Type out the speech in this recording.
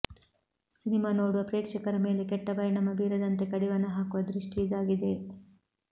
cinema ನೋಡುವ ಪ್ರೇಕ್ಷಕರ ಮೇಲೆ ಕೆಟ್ಟ ಪರಿಣಾಮ ಬೀರದಂತೆ ಕಡಿವಾಣ ಹಾಕುವ ದೃಷ್ಟಿ ಇದಾಗಿದೆ